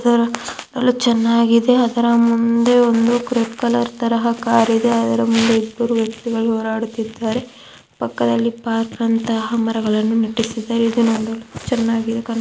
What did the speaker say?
ತರ ಎಲ್ಲಾ ಚೆನ್ನಾಗಿದೆ. ಅದರ ಮುಂದೆ ಒಂದು ಕ್ರೀಕ್ ಕಲರ್ ತರಹ ಕಾರ್ ಇದೆ. ಅದರ ಮುಂದೆ ಇಬ್ಬರು ವ್ಯಕ್ತಿಗಳು ಹೋರಾಡುತಿದ್ದಾರೆ. ಪಕ್ಕದಲ್ಲಿ ಪಾರ್ಕ್ ಅಂತಹ ಮರಗಳು ನೆತ್ತಿಸಿದ್ದಾರೆ. ಇದು ನೋಡಲು ಚೀನಾಗಿದೆ ಕಾ --